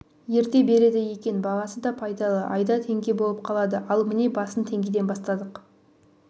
ерте береді екен бағасы да пайдалы айда теңге болып қалады ал міне басын теңгеден бастадық